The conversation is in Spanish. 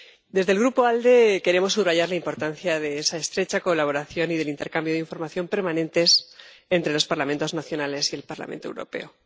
Desde el Grupo ALDE queremos subrayar la importancia de esa estrecha colaboración y del intercambio de información permanentes entre los Parlamentos nacionales y el Parlamento Europeo.